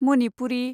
Manipuri